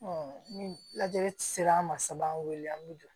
ni lajɛli sera an ma so b'an wele an bi jɔ